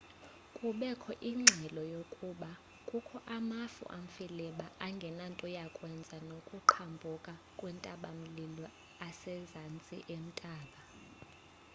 kubekho ingxelo yokuba kukho amafu amfiliba angenanto yakwenza nokuqhambuka kwentaba-mlilo asemazantsi entaba